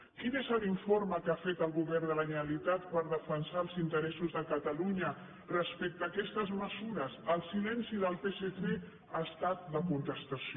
quin és l’informe que ha fet el govern de la generalitat per defensar els interessos de catalunya respecte a aquestes mesures el silenci del psc ha estat la contestació